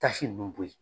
Tasi ninnu bɔ yen